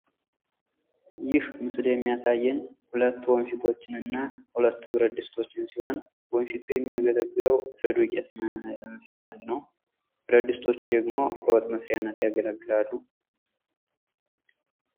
ይህ ምስል የሚያሳየን ሁለት ወፊቶችን እና ሁለት ብረትድስቶችን ሲሆን ወንፊቱ የሚያገለግለው ለዱቄት መንፊያነት ነው። ብረት ድስቶቹ ዳግመው ለውጥ መስሪያነት ያገለግላሉ።